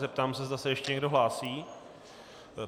Zeptám se, zda se ještě někdo hlásí.